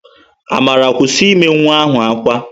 Amara, kwụsị ime nwa ahụ ákwá!